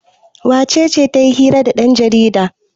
wacece ta yi hira da yanjarida?